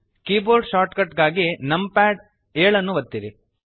keyboard shortcut ಗಾಗಿ numpad 7 ಒತ್ತಿರಿ